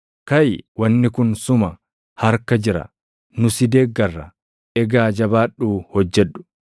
Kaʼi; wanni kun suma harka jira. Nu si deeggarra; egaa jabaadhuu hojjedhu.”